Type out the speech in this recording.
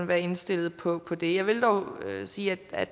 være indstillet på det jeg vil dog sige at